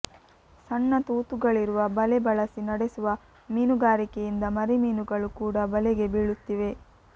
ಸಣ್ಣ ತೂತುಗಳಿರುವ ಬಲೆ ಬಳಸಿ ನಡೆಸುವ ಮೀನುಗಾರಿಕೆಯಿಂದ ಮರಿ ಮೀನುಗಳು ಕೂಡಾ ಬಲೆಗೆ ಬೀಳುತ್ತಿವೆ